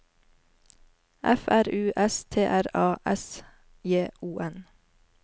F R U S T R A S J O N